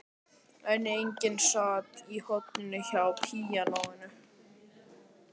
En enginn sat í horninu hjá píanóinu.